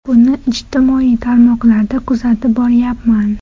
Buni ijtimoiy tarmoqlarda kuzatib boryapman.